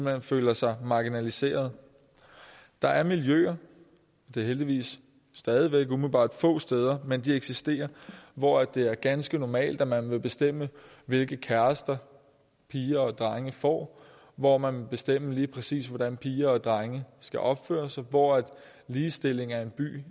hen føler sig marginaliseret der er miljøer det er heldigvis stadig væk umiddelbart få steder men de eksisterer hvor det er ganske normalt at man vil bestemme hvilke kærester piger og drenge får hvor man vil bestemme lige præcis hvordan piger og drenge skal opføre sig hvor ligestilling er en by